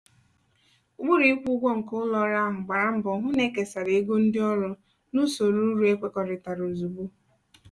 ụkpụrụ ịkwụ ụgwọ nke ụlọ ọrụ ahụ gbara mbọ hụ na ekesara ego ndị ọrụ n'usoro uru ekwekọrịtara ozugbo.